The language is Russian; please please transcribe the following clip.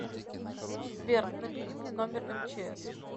сбер набери мне номер мчс